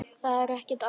Það er ekkert að mér!